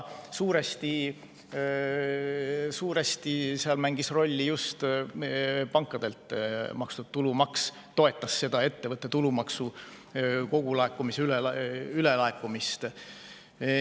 Suuresti mängis seal rolli just pankade makstud tulumaks, see toetas seda ettevõtte tulumaksu kogulaekumise ülelaekumist.